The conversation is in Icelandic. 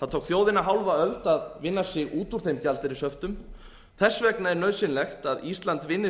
það tók þjóðina hálfa öld að vinna sig út úr þeim gjaldeyrishöftum þess vegna er nauðsynlegt að ísland vinni